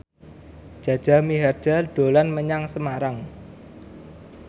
Jaja Mihardja dolan menyang Semarang